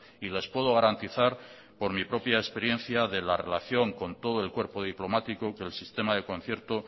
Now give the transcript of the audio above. y les puedo garantizar por mi propia experiencia de la relación con todo el cuerpo diplomático que el sistema de concierto